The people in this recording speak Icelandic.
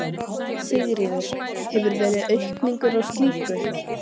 Sigurður: Hefur verið aukning á slíku?